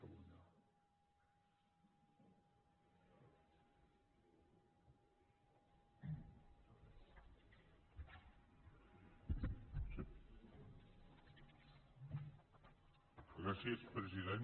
gràcies president